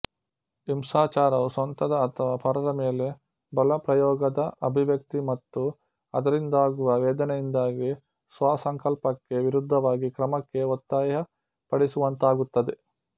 ಹಿಂಸಾಚಾರವು ಸ್ವಂತದ ಅಥವಾ ಪರರ ಮೇಲೆ ಬಲಪ್ರಯೋಗದ ಅಭಿವ್ಯಕ್ತಿ ಮತ್ತು ಅದರಿಂದಾಗುವ ವೇದನೆಯಿಂದಾಗಿ ಸ್ವಸಂಕಲ್ಪಕ್ಕೆ ವಿರುದ್ಧವಾಗಿ ಕ್ರಮಕ್ಕೆ ಒತ್ತಾಯಪಡಿಸುವಂತಾಗುತ್ತದೆ